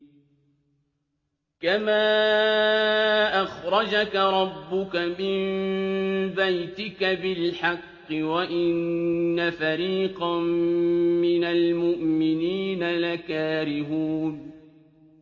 كَمَا أَخْرَجَكَ رَبُّكَ مِن بَيْتِكَ بِالْحَقِّ وَإِنَّ فَرِيقًا مِّنَ الْمُؤْمِنِينَ لَكَارِهُونَ